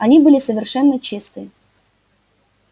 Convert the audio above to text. они были совершенно чистые